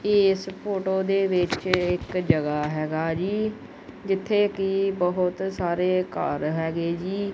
ਇਸ ਫੋਟੋ ਦੇ ਵਿੱਚ ਇੱਕ ਜਗਹਾ ਹੈਗਾ ਜੀ ਜਿੱਥੇ ਕਿ ਬਹੁਤ ਸਾਰੇ ਘਰ ਹੈਗੇ ਜੀ।